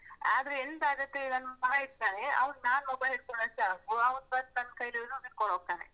ಆದ್ರೆ ಎಂತ ಆಗತ್ತೆ ನನ್ನ್ ಮಗ ಇರ್ತನೆ, ಅವ್ನ್ ನಾನ್ mobile ಹಿಡ್ಕೊಂಡ್ರೆ ಸಾಕು ಅವ್ನ್ ಬಂದು ನನ್ನ್ ಕೈಲಿರುದನ್ನ್ ಕಿತ್ಕೊಂಡ್ ಹೋಗ್ತನೆ.